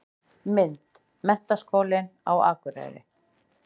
Mynd: Menntaskólinn á Akureyri.